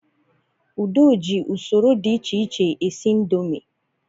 Ude ji usoro dị echeche esi ndomi